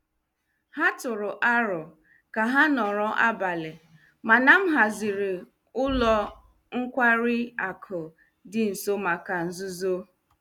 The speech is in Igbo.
Ha tụrụ aro ka ha nọrọ abalị, mana m haziri ụlọ nkwari akụ dị nso maka nzuzo.